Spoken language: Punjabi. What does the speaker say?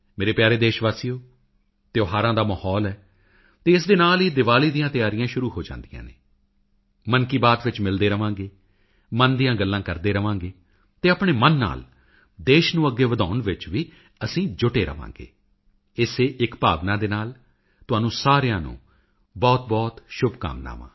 ਮੇਰੇ ਪਿਆਰੇ ਦੇਸ਼ ਵਾਸੀਓ ਤਿਉਹਾਰਾਂ ਦਾ ਮਾਹੌਲ ਹੈ ਅਤੇ ਇਸ ਦੇ ਨਾਲ ਹੀ ਦਿਵਾਲੀ ਦੀਆਂ ਤਿਆਰੀਆਂ ਵੀ ਸ਼ੁਰੂ ਹੋ ਜਾਂਦੀਆਂ ਹਨ ਮਨ ਕੀ ਬਾਤ ਵਿੱਚ ਮਿਲਦੇ ਰਹਾਂਗੇ ਮਨ ਦੀਆਂ ਗੱਲਾਂ ਕਰਦੇ ਰਹਾਂਗੇ ਅਤੇ ਆਪਣੇ ਮਨ ਨਾਲ ਦੇਸ਼ ਨੂੰ ਅੱਗੇ ਵਧਾਉਣ ਵਿੱਚ ਵੀ ਅਸੀਂ ਜੁਟਦੇ ਰਹਾਂਗੇ ਇਸੇ ਇੱਕ ਭਾਵਨਾਂ ਦੇ ਨਾਲ ਤੁਹਾਨੂੰ ਸਾਰਿਆਂ ਨੂੰ ਬਹੁਤਬਹੁਤ ਸ਼ੁਭਕਾਮਨਵਾਂ